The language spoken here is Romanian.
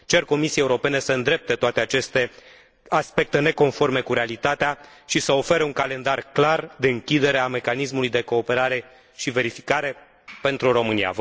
Cer Comisiei Europene să îndrepte toate aceste aspecte neconforme cu realitatea, și să ofere un calendar clar de închidere a mecanismului de cooperare și verificare pentru România.